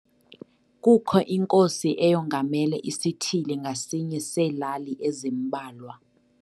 Kukho inkosi eyongamele isithili ngasinye seelali ezimbalwa.